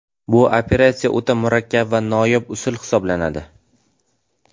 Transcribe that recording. Bu operatsiya o‘ta murakkab va noyob usul hisoblanadi.